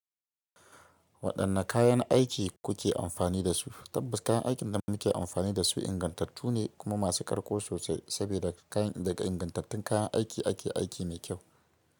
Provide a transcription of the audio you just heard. Waɗanne kayan aiki kuke amfani da su? Tabbas kayan aikin da muke amfani da su ingantattu ne kuma masu ƙarko sosai saboda da kayan daga ingantattun kayan aiki ake aiki mai kyau.